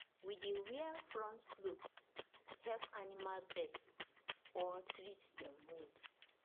we dey wear front cloth help animal birth or treat dem wound